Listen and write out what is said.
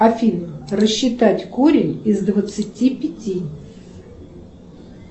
афина рассчитать корень из двадцати пяти